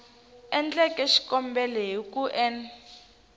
endleke xikombelo hi ku n